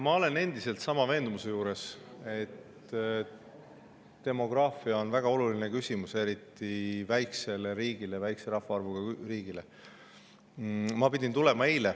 Ma olen endiselt veendumusel, et demograafia on väga oluline küsimus, eriti väikesele riigile, väikese rahvaarvuga riigile.